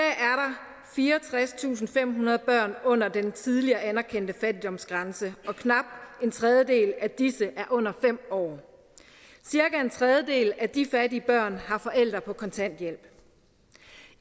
fireogtredstusinde og femhundrede børn under den tidligere anerkendte fattigdomsgrænse og knap en tredjedel af disse er under fem år cirka en tredjedel af de fattige børn har forældre på kontanthjælp